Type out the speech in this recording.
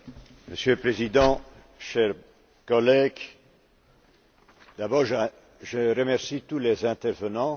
Monsieur le Président, chers collègues, je remercie d'abord tous les intervenants.